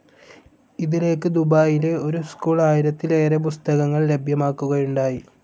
ഇതിലേക്ക് ദുബായിയിലെ ഒരു സ്കൂൾ ആയിരത്തിലേറെ പുസ്തകങ്ങൾ ലഭ്യമാക്കുകയുണ്ടായി.